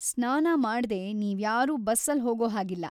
ಸ್ನಾನ ಮಾಡ್ದೇ ನೀವ್ಯಾರೂ ಬಸ್ಸಲ್ಲ್ ಹೋಗೋ ಹಾಗಿಲ್ಲ.